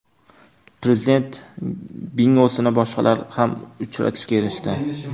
Prezident bingosini boshqalar ham uchratishga erishdi.